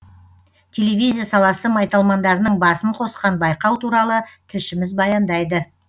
телевизия саласы майталмандарының басын қосқан байқау туралы тілшіміз баяндайды